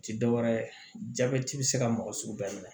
Ti dɔwɛrɛ ye jabɛti be se ka mɔgɔ sugu bɛɛ minɛ